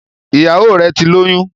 Ìyàwọ rè tí lóyún